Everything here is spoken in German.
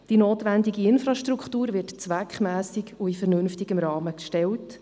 Die notwendige Infrastruktur wird zweckmässig und in vernünftigem Rahmen erstellt.